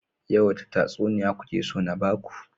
Yau wace tatsuniya kuke so na baku?